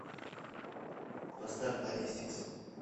поставь логистикс